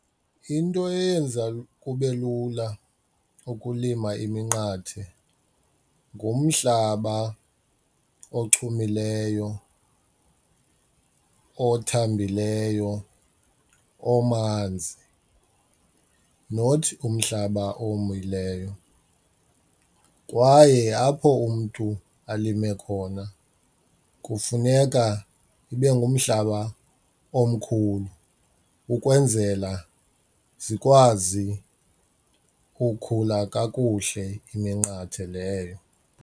Into eyenza kube lula ukulima iminqathe ngumhlaba ochumileyo, othambileyo, omanzi not umhlaba owomileyo kwaye apho umntu alime khona kufuneka ibe ngumhlaba omkhulu ukwenzela zikwazi ukhula kakuhle iminqathe leyo.